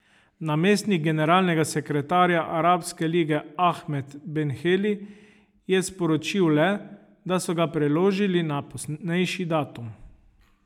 Namestnik generalnega sekretarja Arabske lige Ahmed Ben Heli je sporočil le, da so ga preložili na poznejši datum.